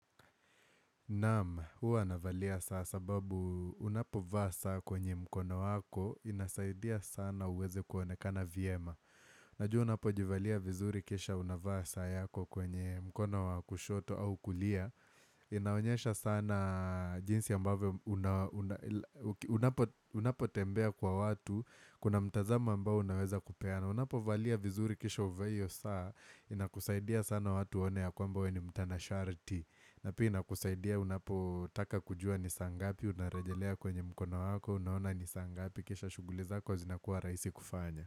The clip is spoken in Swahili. Naam, hua navalia saa sababu unapo vaa saa kwenye mkono wako inasaidia sana uweze kuonekana vyema. Najua unapo jivalia vizuri kisha unavaa saa yako kwenye mkono wakushoto au kulia. Inaonyesha sana jinsi ambavyo unapo tembea kwa watu kuna mtazama ambao unaweza kupeana. Unapo valia vizuri kisha uvae hiyo saa inakusaidia sana watu waone ya kwamba weweni mtana sharti. Na pia kusaidia unapotaka kujua nisaa ngapi, unarejelea kwenye mkono wako, unaona nisaa ngapi, kisha shughuli zako kwa zinakuwa rahisi kufanya.